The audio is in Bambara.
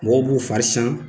Mɔgɔw b'u fari sian